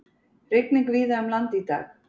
Rigning víða um land í dag